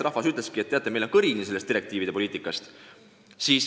Rahvas ütleski, et meil on kõrini sellest direktiivide poliitikast.